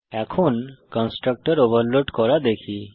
এখন constructor overload করা দেখি